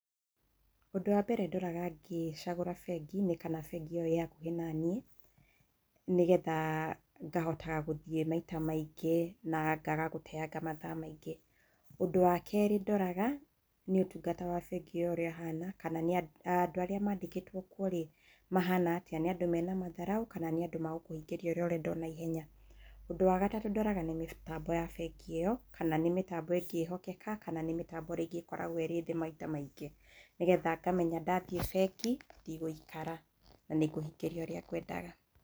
Ũndũ wa mbere ndoraga ngĩcagũra bengi, nĩ kana bengĩ ĩyo ĩ hakuhĩ naniĩ, nĩgetha ngahotaga gũthiĩ maita maingĩ na ngaga gũteanga mathaa maingĩ. Ũndũ wa kerĩ ndoraga, nĩ ũtungata wa bengi ĩyo ũrĩa ũhana, kana nĩa, andũ arĩa mandĩkĩtwo kuo-rĩ mahana atĩa, nĩ andũ mena matharaũ kana nĩ andũ magũkũhingĩria ũrĩa ũrenda o naihenya. Ũndũ wa gatatũ ndoraga nĩ mĩtambo ya bengi ĩyo, kana nĩ mĩtambo ĩngĩhokeka kana nĩ mĩtambo rĩngĩ ĩkoragwo ĩrĩ thĩ maita maingĩ, nĩgetha ngamenya ndathiĩ bengi ndigũikara na nĩngũhingĩrio ũrĩa ngwendaga.